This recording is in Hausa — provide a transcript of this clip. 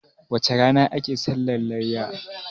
wacece rana ake sallah layya?